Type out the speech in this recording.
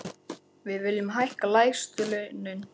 Við viljum hækka lægstu launin.